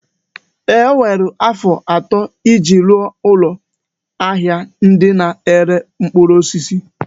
O were afọ atọ iji rụọ ụlọ ahịa ndị na-ere mkpụrụ osisi.